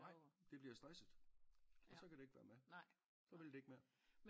Nej det bliver stresset og så kan det ikke være med så vil det ikke mere